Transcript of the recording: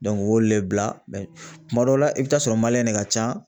o y'olu le bila kuma dɔw la i bɛ taa sɔrɔ de ka ca.